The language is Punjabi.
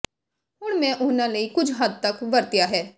ਹੁਣ ਮੈਂ ਉਹਨਾਂ ਲਈ ਕੁਝ ਹੱਦ ਤੱਕ ਵਰਤਿਆ ਹੈ